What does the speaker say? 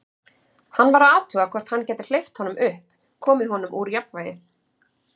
Hann var að athuga, hvort hann gæti hleypt honum upp, komið honum úr jafnvægi.